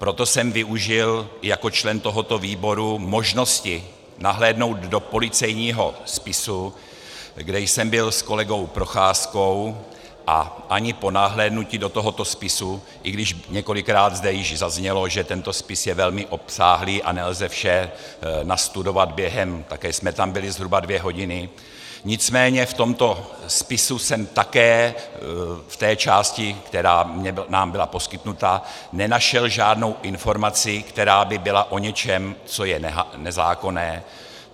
Proto jsem využil jako člen tohoto výboru možnosti nahlédnout do policejního spisu, kde jsem byl s kolegou Procházkou, a ani po nahlédnutí do tohoto spisu, i když několikrát zde již zaznělo, že tento spis je velmi obsáhlý a nelze vše nastudovat během - také jsme tam byli zhruba dvě hodiny, nicméně v tomto spisu jsem také v té části, která nám byla poskytnuta, nenašel žádnou informaci, která by byla o něčem, co je nezákonné.